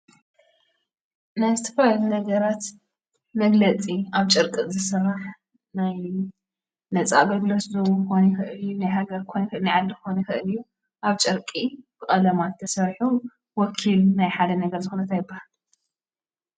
ናይ ዝተፈላለዩ ነገራት መፍለጢ ኣብ ጨርቂ ዝስራሕ ናይ ነፃ አገልግሎት ክኾን ይክእል እዩ፡፡ ናይ ሃገር ክኾን ይክእል እዩ፡፡ ናይ ዓዲ ክኾን ይክእል እዩ፡፡ ኣብ ጨርቂ ቀለማት ተሰሪሑ ወኪል ናይ ሓደ ነገር ዝኮነ እንታይ ይበሃል?